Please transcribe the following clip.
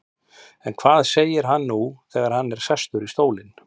En hvað segir hann nú þegar hann er sestur í stólinn?